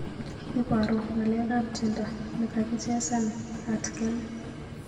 Ibaru ngalekab tyendo negagichesan atgen